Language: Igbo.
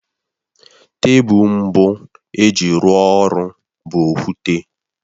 Tebụl mbụ e ji rụọ ọrụ bụ okwute